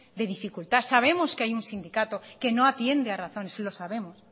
de dificultad sabemos que hay un sindicato que no atiende a razones lo sabemos